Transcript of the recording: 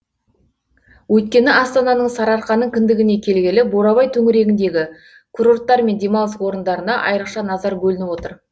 өйткені астананың сарыарқаның кіндігіне келгелі бурабай төңірегіндегі курорттар мен демалыс орындарына айрықша назар бөлініп отыр